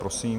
Prosím.